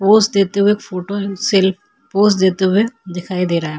Pose देते हुए एक फोटो सेल्फी पोज़ देते हुए दिखाई दे रहा हैं।